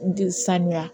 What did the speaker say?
N tɛ sanuya